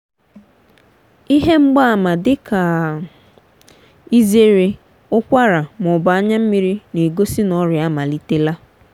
ihe mgbaàmà dị ka ịzere ụkwara ma ọ bụ anya mmiri na-egosi na ọrịa amalitela.